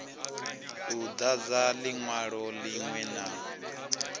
u dadza linwalo linwe na